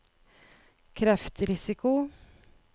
kreftrisiko